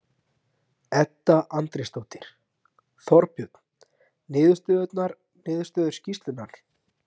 Guðný Helga Herbertsdóttir: Var þetta pólitísk niðurstaða?